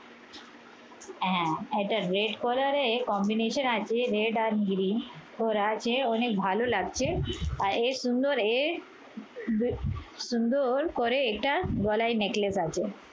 আহ এটা red color এর combination আছে। red আর green করা আছে অনেক ভালো লাগছে। আর এর সুন্দর এর সুন্দর করে এটা গলার necklace আছে।